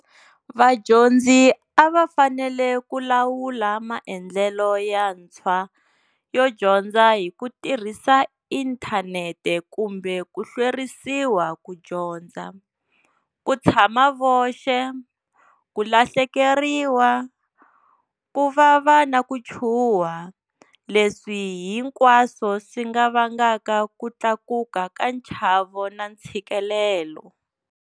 Vadyondzi a va fanele ku lawula maendlelo yantshwa yo dyondza hi ku tirhisa inthanete kumbe ku hlwerisiwa ku dyondza, ku tshama voxe, ku lahlekeriwa, ku vava na ku chuwha, leswi hinkwaswo swi nga vangaka ku tlakuka ka nchavo na ntshikelelo.